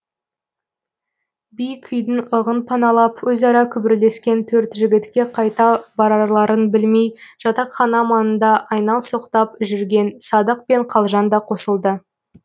биік үйдің ығын паналап өзара күбірлескен төрт жігітке қайда барарларын білмей жатақхана маңында айналсоқтап жүрген садық пен қалжан да қосылды